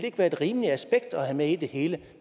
ikke være et rimeligt aspekt at have med i det hele